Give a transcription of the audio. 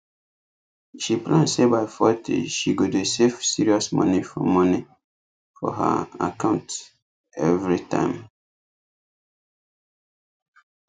she plan say by forty she go dey save serious moni for moni for her account every time